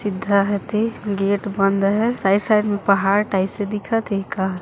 सीधा हाथे गेट बंद हे साइड साइड में पहाड़ टाइप से दिखत हे ए का ह--